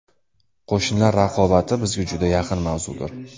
Qo‘shnilar raqobati bizga juda yaqin mavzudir.